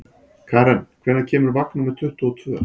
Karen, hvenær kemur vagn númer tuttugu og tvö?